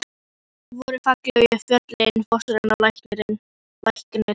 Hvar voru fallegu fjöllin, fossarnir og lækirnir?